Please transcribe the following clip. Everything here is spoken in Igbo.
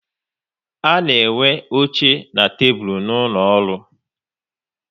A na enwe oche na tebụl n'ụlọ ọrụ